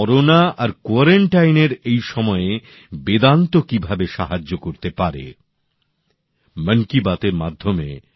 corona আর কোয়ারান্টাইনের এই সময়ে বেদান্ত কিভাবে সাহায্য করতে পারে সেটি জানার জন্য মানুষের এই বিষয়ে অনেক আগ্রহ আছে